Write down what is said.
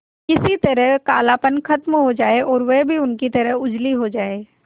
किसी तरह कालापन खत्म हो जाए और वह भी उनकी तरह उजली हो जाय